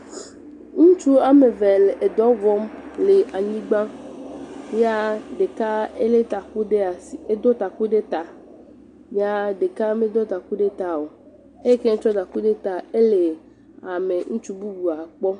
Ŋutsu ame ve le edɔ wɔm le anyigba. Yaa ɖeka elé taku ɖe asi, edo taku ɖe taa. Yaa ɖeka medo taku ɖe ta o. Eyi ke tsɔ taku ɖe taa, ele ame, ŋutsu bubua kpɔm.